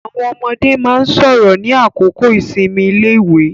Àwọn ọmọde máa ń sọ̀rọ̀ ní àkókò ìsinmi iléèwé.